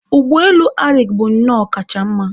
Ụgbọelu Arik bụnnọ ọkacha mma